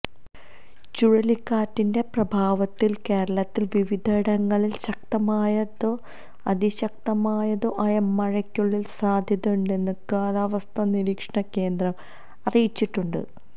ചുഴലിക്കാറ്റിന്റെ പ്രഭാവത്താല് കേരളത്തില് വിവിധയിടങ്ങളില് ശക്തമായതോ അതിശക്തമായതോ ആയ മഴയ്ക്കുള്ള സാധ്യതണ്ടെന്ന് കാലവസ്ഥാ നിരീക്ഷണ കേന്ദ്രം അറിയിച്ചിട്ടുണ്ട്